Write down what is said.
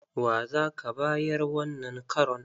Wa za ka bayar wannan karon?